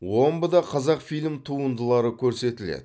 омбыда қазақфильм туындылары көрсетіледі